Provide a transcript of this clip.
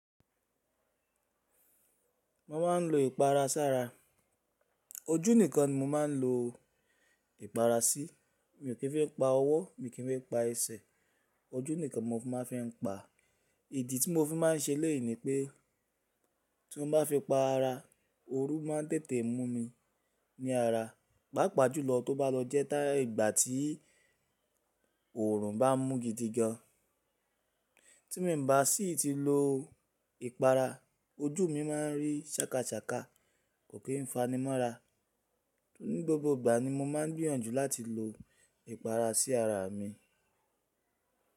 Mo máa ń lo ìpara sára. Ojú nìkan ni mo máa ń lo ìpara sí. Mi ò kì í fi pa ọwọ́, mi ò kì í fi pa ẹsẹ̀. Ojú nìkan mo fi máa ń fi pa. Ìdí tí mo fi máa ń ṣe léèyì ni pé, tí mo bá fi pa ara, ooru máa tẹ̀tè mú mi ní ara. Pàápàá jùlọ tí o bá lọ jẹ́ tì ìgbà tí òòrùn bá ń mú gidi gan. Tí mi bá sì ti lo ìpara, ojú mi máa ń rí sákasakà, kò kí ń fanimọ́ra. Ni gbogbo ìgbà ni mo máa ń gbìyànjú láti lo ìpara sí ara mi.